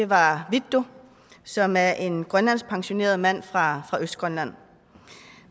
var vittus som er en grønlandsk pensioneret mand fra østgrønland